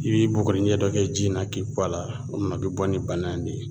I bi bugurinjɛ dɔ kɛ ji in na k'i kɔ a la o kuma a bi bɔ ni bana in de ye